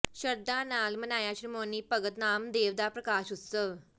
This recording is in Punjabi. ਸ਼ਰਧਾ ਨਾਲ ਮਨਾਇਆ ਸ਼੍ਰੋਮਣੀ ਭਗਤ ਨਾਮਦੇਵ ਦਾ ਪ੍ਰਕਾਸ਼ ਉਤਸਵ